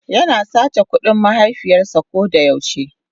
yana sace kudin mahaifiyars a kodayau she.